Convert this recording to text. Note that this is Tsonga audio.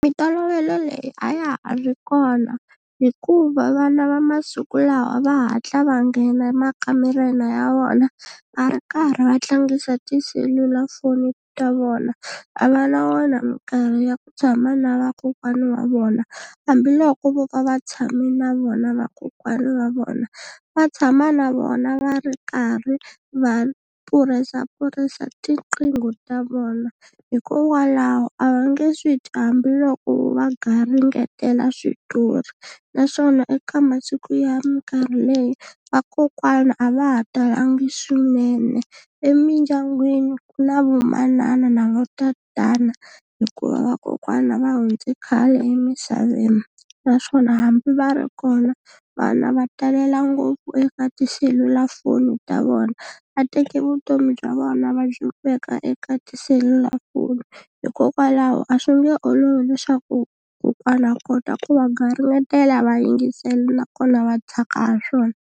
Mintolovelo leyi a ya ha ri kona hikuva vana va masiku lawa va hatla va nghena emakamareni ya vona va ri karhi va tlangisa tiselulafoni ta vona a va na wona minkarhi ya ku tshama na vakokwani wa vona hambiloko vo va va tshame na vona vakokwani wa vona va tshama na vona va ri karhi va pfurisa pfurisa tinqingho ta vona hikokwalaho a va nge swi twi hambiloko va garingetela switori naswona eka masiku ya minkarhi leyi vakokwana a va ha talangi swinene emindyangwini ku na vomanana na votatana hikuva vakokwana va hundze khale emisaveni naswona hambi va ri kona vana va talela ngopfu eka tiselulafoni ta vona va teke vutomi bya vona va byi veka eka tiselulafoni hikokwalaho a swi nge olovi leswaku kokwana a kota ku va garingetela va yingisela nakona va tsaka ha swona.